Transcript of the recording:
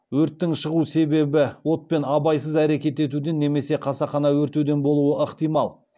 өрттің шығу себебі отпен абайсыз әрекет етуден немесе қасақана өртеуден болуы ықтимал